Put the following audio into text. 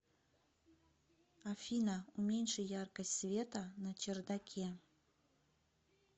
афина уменьши яркость света на чердаке